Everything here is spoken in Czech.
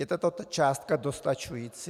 Je tato částka dostačující?